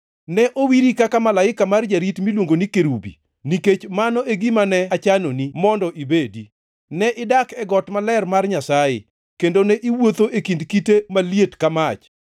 Ne owiri kaka malaika ma jarit miluongo ni kerubi, nikech mano e gima ne achanoni, mondo ibedi. Ne idak e got maler mar Nyasaye; kendo ne iwuotho e kind kite maliet ka mach.